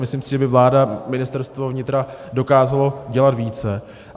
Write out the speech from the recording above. Myslím si, že by vláda, Ministerstvo vnitra dokázalo dělat více.